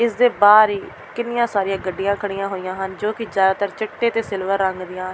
ਇਸ ਦੇ ਬਾਹਰ ਹੀ ਕਿੰਨੀਆਂ ਸਾਰੀਆਂ ਗੱਡੀਆਂ ਖੜੀਆਂ ਹੋਈਆਂ ਹਨ ਜੋ ਕਿ ਜ਼ਿਆਦਾਤਰ ਚਿੱਟੇ ਤੇ ਸਿਲਵਰ ਰੰਗ ਦੀਆਂ --